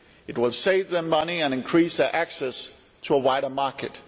It will save them money and increase their access to a wider market.